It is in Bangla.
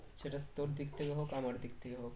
সেটা তোর দিক থেকে হোক আমার দিক থেকে হোক